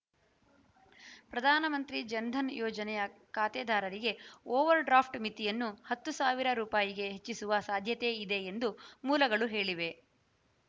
ಪ್ರಧಾನ ಮಂತ್ರಿ ಜನಧನ ಯೋಜನೆಯ ಖಾತೆದಾರರಿಗೆ ಓವರ್‌ಡ್ರಾಫ್ಟ್‌ ಮಿತಿಯನ್ನು ಹತ್ತು ಸಾವಿರ ರುಪಾಯಿಗೆ ಹೆಚ್ಚಿಸುವ ಸಾಧ್ಯತೆ ಇದೆ ಎಂದು ಮೂಲಗಳು ಹೇಳಿವೆ